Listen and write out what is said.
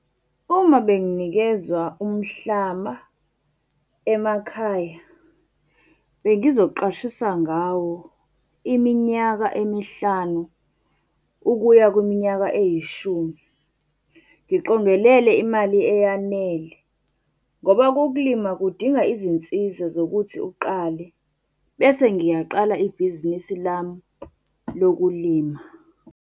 Uma benginikezwa umhlaba emakhaya, bengizoqashisa ngawo iminyaka emihlanu ukuya kwiminyaka eyishumi. Ngiqongelele imali eyanele ngoba ukulima kudinga izinsiza zokuthi uqale. Bese ngiyaqala ibhizinisi lami lokulima.